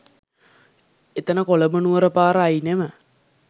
එතන කොළඹ නුවර පාර අයිනෙම